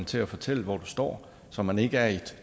til at fortælle hvor man står så man ikke er i et